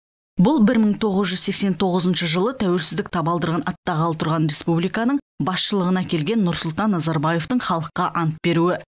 бұл бір мың тоғыз жүз сексен тоғызыншы жылы тәуелсіздік табалдырығын аттағалы тұрған республиканың басшылығына келген нұрсұлтан назарбаевтың халыққа ант беруі